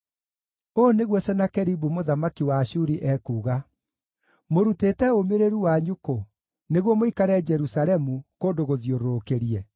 “Ũũ nĩguo Senakeribu mũthamaki wa Ashuri ekuuga: Mũrutĩte ũmĩrĩru wanyu kũ, nĩguo mũikare Jerusalemu, kũndũ gũthiũrũrũkĩrie?